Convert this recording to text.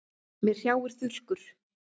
Mig hrjáir þurrkur.